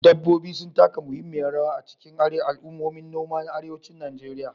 Dabbobi sun taka muhimmiyar rawa a cikin al'ummomin noma na arewacin Najeriya.